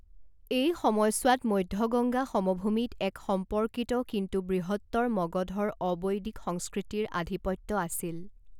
এই সময়ছোৱাত মধ্য গংগা সমভূমিত এক সম্পৰ্কিত কিন্তু বৃহত্তৰ মগধৰ অবৈদিক সংস্কৃতিৰ আধিপত্য আছিল।